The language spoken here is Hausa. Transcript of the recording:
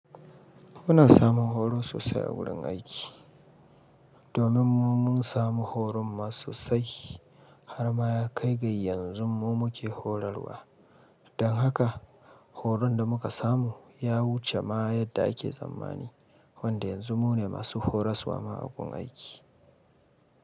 Muna samun horo sosai a wurin aiki. Domin mu mun samu horon ma sosai har ma ya kai ga yanzu mu muke horarwa. Dan haka horon da muka samu ya wuce ma yadda ake tsammani wanda yanzu mu ne masu horas wa ma agun aiki.